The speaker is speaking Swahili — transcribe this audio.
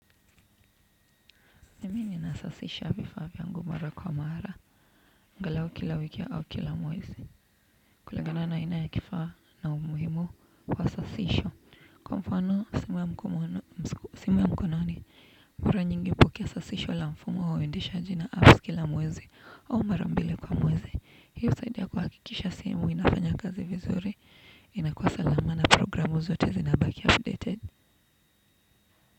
Mimi ninasafisha vifaa vyangu mara kwa mara, angalau kila wiki au kila mwezi. Kulingana na aina ya kifaa na umuhimu kwa sasisho. Kwa mfano, simu ya mkononi. Mkura nyingi hukisasisho la mfumo uendishaji na apps kila mwezi au mara mbili kwa mwezi. Hiyo saidi ya kuhakikisha simu inafanya kazi vizuri. Inakua salama na programu zote zinabaki updated.